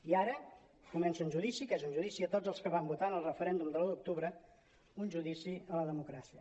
i ara comença un judici que és un judici a tots els que vam votar en el referèndum de l’un d’octu·bre un judici a la democràcia